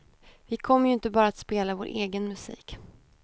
Vi kommer ju inte bara att spela vår egen musik.